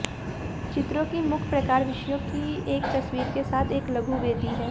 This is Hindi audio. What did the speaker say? चित्रों की मुख्य प्रकार विषयों की एक तस्वीर के साथ एक लघु वेदी है